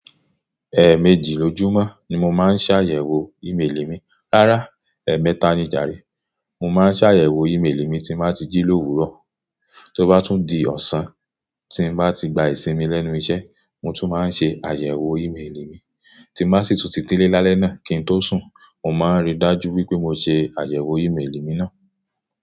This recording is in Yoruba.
Ẹẹ̀mẹjì lójúmọ́ ni mo máa ń ṣàyẹ̀wò e-mail mi, rárá, ẹ̀ẹ̀mẹta ni jàre. Mo máa ń ṣàyẹ̀wò e-mail mi tí mo bá ti jí l'òwúrò. Tí ó bá tún di ọ̀sán, tí n bá ti gba ìsinmi lẹ́nu iṣẹ́, mo tún máa ń ṣe àyẹ̀wò e-mail mi. Tí mo sì tún ti dẹ́lẹ̀ lálẹ́ náà kí n tó sùn, mo máa ń rí dájú wípé mo ṣe àyẹ̀wò e-mail mi náà.